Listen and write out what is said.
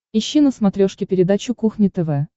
ищи на смотрешке передачу кухня тв